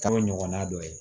Kalo ɲɔgɔnna dɔ ye